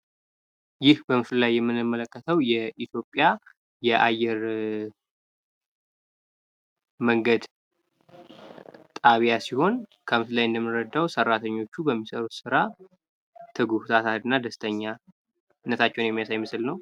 ይህ በምስሉ ላይ የምንመለከተው የኢትዮጵያ አየር መንገድ ጣቢያ ሲሆን፤ ሰራተኞቹ በሚሰሩት ስራ ታታሪና ትጉህ፣ ደስተኛ መሆናቸውን የሚያሳይ ምስል ነው።